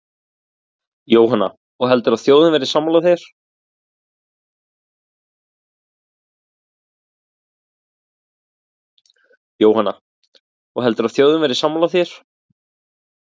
Jóhanna: Og heldur þú að þjóðin verði sammála þér?